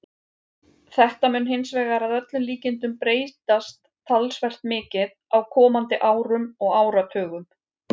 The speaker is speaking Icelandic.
Þetta mun hins vegar að öllum líkindum breytast talsvert mikið á komandi árum og áratugum.